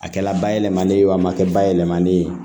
A kɛla bayɛlɛmali ye a ma kɛ bayɛlɛmalen ye